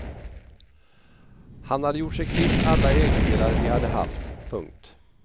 Han hade gjort sig kvitt alla ägodelar vi hade haft. punkt